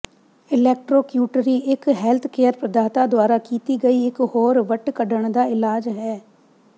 electrocautery ਇਕ healthcare ਪ੍ਰਦਾਤਾ ਦੁਆਰਾ ਕੀਤੀ ਗਈ ਇਕ ਹੋਰ ਵੱਟ ਕੱਢਣ ਦਾ ਇਲਾਜ ਹੈ